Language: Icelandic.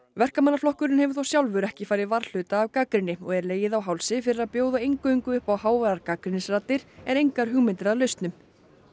verkamannaflokkurinn hefur þó sjálfur ekki farið varhluta af gagnrýni og er legið á hálsi fyrir að bjóða eingöngu upp á háværar gagnrýnisraddir en engar hugmyndir að lausnum